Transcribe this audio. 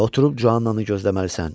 Və oturub Juananı gözləməlisən.